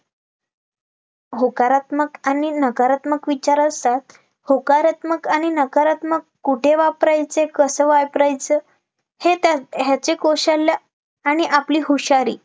होकारात्मक आणि नकारात्मक विचार असतात होकारात्मक आणि नकारात्मक कुठे वापरायचे, कसं वापरायचं हे त्या ह्याचे कौशल्य आणि आपली हुशारी